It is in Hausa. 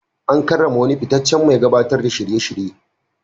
An karrama wani fitaccen mai gabatar da shirye-shirye.